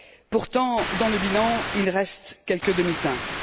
Pourtant, dans le bilan, il reste quelques demi teintes.